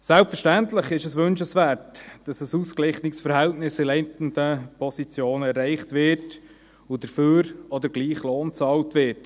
Selbstverständlich ist es wünschenswert, dass in leitenden Positionen ein ausgeglichenes Verhältnis erreicht wird und dafür auch der gleiche Lohn bezahlt wird.